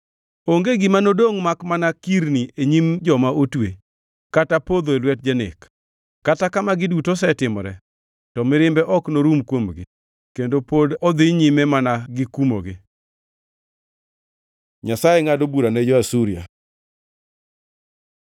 Onge gima nodongʼ makmana kirni e nyim joma otwe kata podho e lwet janek. Kata ka magi duto osetimore, to mirimbe ok norum kuomgi, kendo pod odhi nyime mana gikumogi. Nyasaye ngʼado bura ne jo-Asuria